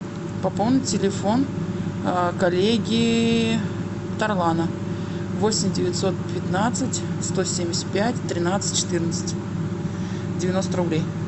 пополни телефон коллеги тарлана восемь девятьсот пятнадцать сто семьдесят пять тринадцать четырнадцать девяносто рублей